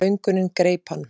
Löngunin greip hann.